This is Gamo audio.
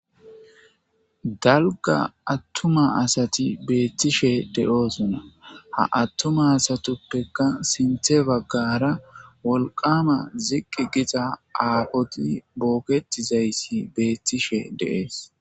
Dalgga attuma asati beettishe de7oosona. Ha attuma asatuppeka sintte baggaara wolqama ziqqi giza aafoti bookethizayssi beettishe de7ees.